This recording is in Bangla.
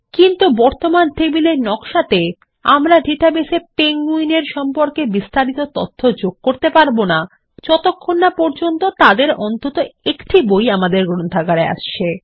কিন্তু বর্তমান টেবিলের নক্সাতে আমরা ডেটাবেস এ পেঙ্গুইন এর সম্পর্কে বিস্তারিত তথ্য যোগ করতে পারবো না যতক্ষণ না পর্যন্ত তাদের অন্তত একটি বই গ্রন্থাগারে আসছে